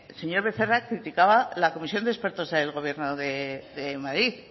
señor becerra criticaba la comisión de expertos del gobierno de madrid